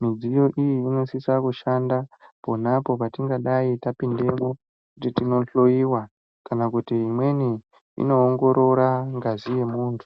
midziyo iyi inosisa kushanda ponapo patingadai tapindamo kuti tinohloyiwa kana kuti imweni inoongorora ngazi yemuntu.